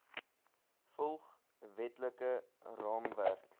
volg wetlike raamwerk